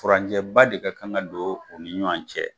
Furanjɛba de ka kan ka don o ni ɲɔan cɛ